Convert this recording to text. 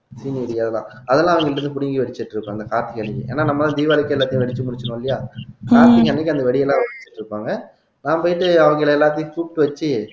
அதெல்லாம் அவங்க கிட்ட இருந்து புடுங்கி வச்சுட்டு இருக்கும் அந்த காப்பிகள் ஏன்னா நம்ம தீபாவளிக்கு எல்லாத்தையும் வெடிச்சு முடிச்சுருவோம் இல்லையா கார்த்திகை அன்னைக்கு அந்த வெடியெல்லாம் வெடிச்சிட்டு இருப்பாங்க நான் போயிட்டு அவங்களை எல்லாத்தையும் கூப்பிட்டு வச்சு